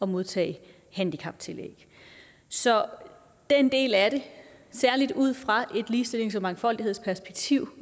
modtage handicaptillæg så den del af det særlig ud fra et ligestillings og mangfoldighedsperspektiv